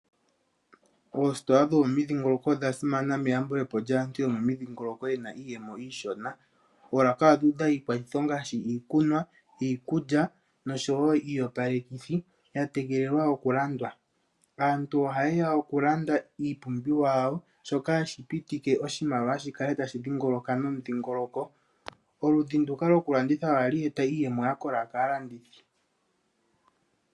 Oositola dhomomidhingoloko odha simana meyambulepo lyaantu yomomidhingoloko, ye na iiyemo iishona. Oolaka odhu udha iikwathitho ngaashi iikunwa, iikulya noshowo iiyopalekithi ya tegelelwa oku landwa. Aantu ohaye ya oku landa iipumbiwa yawo shoka hashi pitike oshimaliwa shikale hashi dhingoloka nomudhingoloko. Oludhi nduka loku landitha ohali eta iiyemo yakola kaalandithi.